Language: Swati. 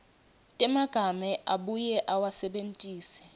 temagama abuye awasebentise